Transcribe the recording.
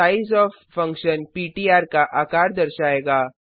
सिजियोफ function पिट्र का आकार दर्शाएगा